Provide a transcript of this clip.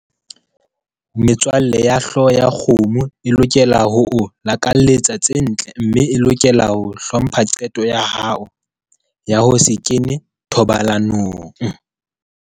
Metswalle ya hlooho ya kgomo e lokela ho o lakaletsa tse ntle mme e lokela ho hlompha qeto ya hao ya ho se kene thobalanong.